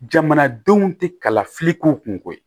Jamanadenw tɛ kalafili k'u kunko ye